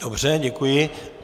Dobře, děkuji.